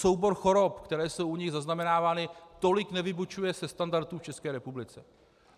Soubor chorob, které jsou u nich zaznamenávány, tolik nevybočuje ze standardů v České republice.